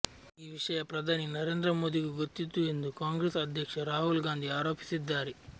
ಈ ವಿಷಯ ಪ್ರಧಾನಿ ನರೇಂದ್ರ ಮೋದಿಗೂ ಗೊತ್ತಿತ್ತು ಎಂದು ಕಾಂಗ್ರೆಸ್ ಅಧ್ಯಕ್ಷ ರಾಹುಲ್ ಗಾಂಧಿ ಆರೋಪಿಸಿದ್ದಾರೆ